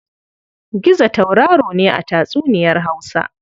Gizo tauraro ne a tatsuniyar Hausa.